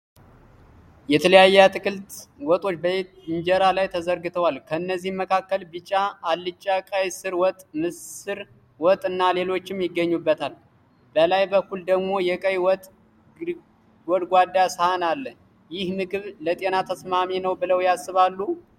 የተለያየ የአትክልት ወጦች በኢንጀራ ላይ ተዘርግተዋል። ከእነዚህም መካከል ቢጫ አልጫ፣ ቀይ ስር ወጥ፣ ምስር ወጥ እና ሌሎችም ይገኙበታል። በላይ በኩል ደግሞ የቀይ ወጥ ጎድጓዳ ሳህን አለ። ይህ ምግብ ለጤና ተስማሚ ነው ብለው ያስባሉ?